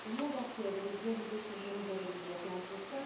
Le monde entier avait les yeux rivés sur Jérusalem il y a 15 jours.